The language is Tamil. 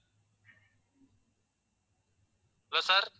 hello sir